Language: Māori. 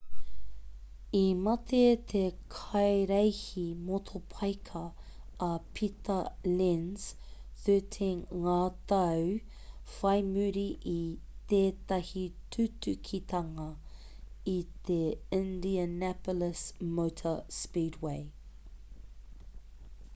i mate te kaireihi motopaika a pita lenz 13 ngā tau whai muri i tētahi tutukitanga i te indianapolis motor speedway